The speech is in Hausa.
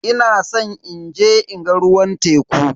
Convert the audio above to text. Ina san inje in ga ruwan teku.